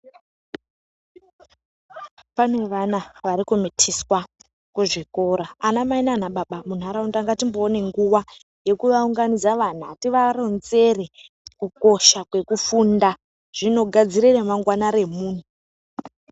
Pane vana varikumitiswa kuzvikora vanamai nanababa muntaraunda ngatimboona nguva yekuvaunganidza vana. Tivaronzere kukosha kwekufunda zvinogadzire ramangwana remumtu.